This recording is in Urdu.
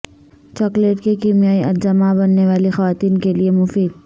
چاکلیٹ کے کیمیائی اجزا ء ماں بننے والی خواتین کیلئے مفید